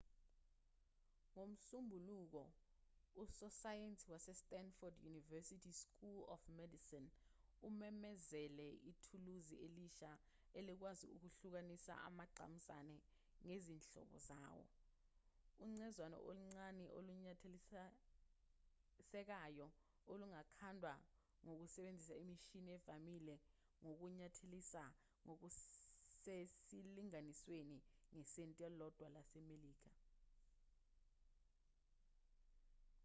ngomsombuluko usosayensi wase-stanford university school of medicine umemezele ithuluzi elisha elikwazi ukuhlukanisa amagqamuzane ngezinhlobo zawo ucezwana oluncane olunyathelisekayo olungakhandwa ngokusebenzisa imishini evamile yokunyathelisa ngokusesilinganisweni ngesenti elilodwa lasemelika